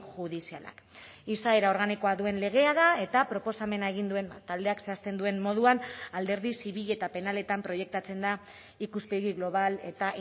judizialak izaera organikoa duen legea da eta proposamena egin duen taldeak zehazten duen moduan alderdi zibil eta penaletan proiektatzen da ikuspegi global eta